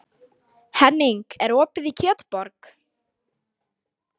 Henning, er opið í Kjötborg?